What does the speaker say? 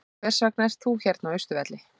Hvers vegna ert þú hérna á Austurvelli?